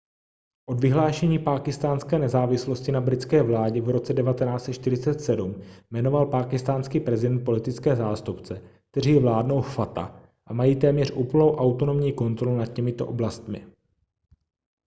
od vyhlášení pákistánské nezávislosti na britské vládě v roce 1947 jmenoval pákistánský prezident politické zástupce kteří vládnou fata a mají téměř úplnou autonomní kontrolu nad těmito oblastmi